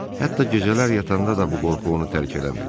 Hətta gecələr yatanda da bu qorxu onu tərk eləmirdi.